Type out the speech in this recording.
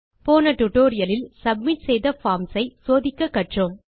போன டுடோரியலில் சப்மிட் செய்த பார்ம்ஸ் ஐ சோதிக்க கற்றோம்